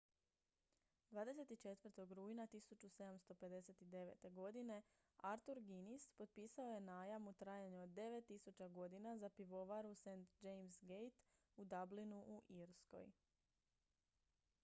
24. rujna 1759. godine arthur guinness potpisao je najam u trajanju od 9000 godina za pivovaru st james' gate u dublinu u irskoj